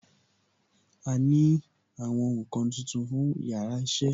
A ní àwọn nkan tuntun fún yàrá iṣẹ́